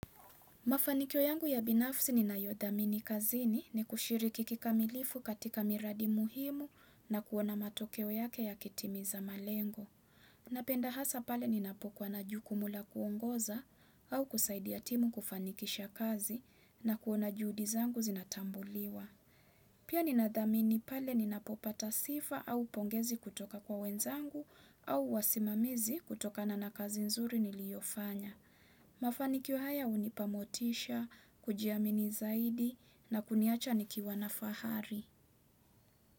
Mafanikio yangu ya binafsi ninayodhamini kazini ni kushiriki kikamilifu katika miradi muhimu na kuona matokeo yake yakitimiza malengo. Napenda hasa pale ninapokuwa na jukumu la kuongoza au kusaidia timu kufanikisha kazi na kuona juhudi zangu zinatambuliwa. Pia ni nadhamini pale ni napopata sifa au pongezi kutoka kwa wenzangu au wasimamizi kutokana na kazi nzuri niliyofanya. Mafanikio haya hunipa motisha, kujiamini zaidi na kuniacha nikiwa na fahari.